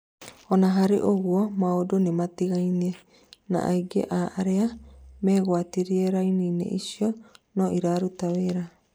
ona harĩ ũgũo maũndũ nimatigaine, na aingĩ a aria megwatĩire raini icio no iraruta wĩra